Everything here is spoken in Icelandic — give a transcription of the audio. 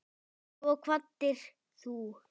Svo kvaddir þú.